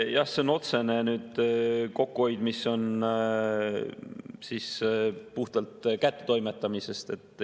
Jah, see on otsene kokkuhoid, mis on puhtalt kättetoimetamisest.